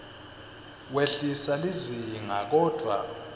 wehlisa lizinga kodvwa